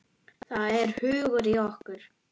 Það er hugur í okkur.